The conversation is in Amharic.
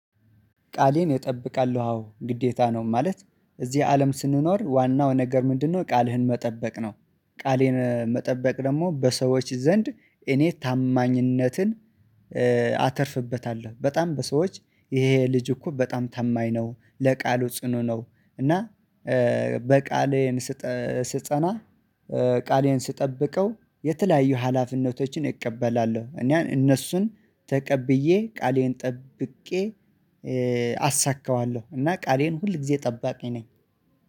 ቃሌን እጠብቃለሁ አዎ ግዴታ ነው። ማለት እዚህ አለም ስንኖር ዋናው ነገር ምንድነው ቃልህን መጠበቅ ነው። ቃሌን መጠበቅ ደግሞ በሰዎች ዘንድ እኔ ታማኝነትን አተርፍበታለዉ። በጣም በሰዎች ይሄ ልጅ እኮ በጣም ታማኝ ነው ለቃሉ ጽኑ ነው እና በቃሌን ስጸና ቃሌን ስጠብቀው የተለያዩ ሀላፊነቶችን እቀበላለሁ እኔ እነሱን ተቀብዬ ቃሌን ጠብቄ አሳካዋለሁ እና ቃሌን ሁል ጊዜ ጠባቂ ነኝ።